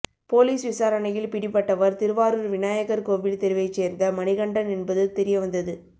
police விசாரணையில் பிடிபட்டவர் திருவாரூர் விநாயகர் கோவில் தெருவைச் சேர்ந்த மணிகண்டன் என்பது தெரியவந்தது